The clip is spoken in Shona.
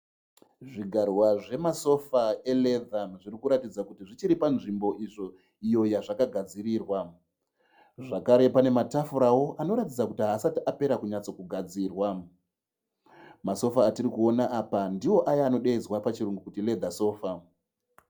Zvigarwa zvemafosa e"leather" zvirikuratidza kuti zvichiri panzvimbo izvo iyo yazvakagadzirIrwa. Zvakare pane matafurawo anoratidza kuti haasati apera kunyatsogadzirwa. Masofa atirikuona apa ndiwo aye anodeedza kuti, "Leather sofa".